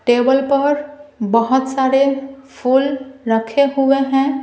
Table पर बहुत सारे फूल रखे हुए हैं।